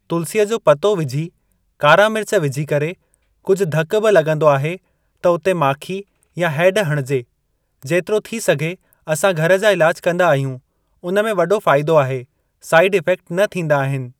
तुलसीअ जो पतो विझी कारा मिर्च विझी करे कुझु धकु बि लॻंदो आहे त उते माखी या हैड हणिजे। जेतिरो थी सघे असां घर जा इलाज कंदा आहियूं उन में वॾो फ़ाइदो आहे, साइड इफेक्ट न थींदा आहिनि।